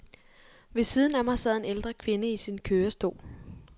Ved siden af mig sad en ældre kvinde i sin kørestol.